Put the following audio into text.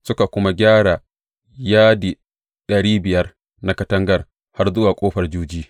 Suka kuma gyara yadi ɗari biyar na katangar har zuwa Ƙofar Juji.